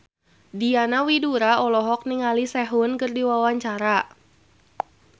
Diana Widoera olohok ningali Sehun keur diwawancara